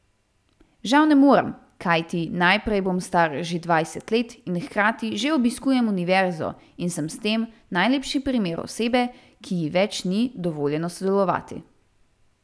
Žal ne morem, kajti najprej bom star že dvajset let in hkrati že obiskujem univerzo in sem s tem najlepši primer osebe, ki ji več ni dovoljeno sodelovati.